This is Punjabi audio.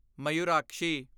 ਮਯੂਰਾਕਸ਼ੀ